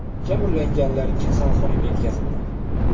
Jabrlanganlar kasalxonaga yetkazildi.